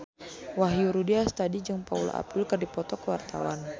Wahyu Rudi Astadi jeung Paula Abdul keur dipoto ku wartawan